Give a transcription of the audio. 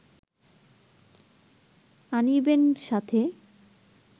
আনিবেন সাথে